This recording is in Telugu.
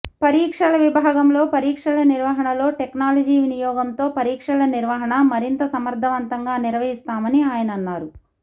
పరీక్షల విభాగంలో పరీక్షల నిర్వహణలో టెక్నాలజి వినియోగంతో పరీక్షల నిర్వహణ మరింత సమర్థవంతంగా నిర్వహిస్తామని ఆయన అన్నారు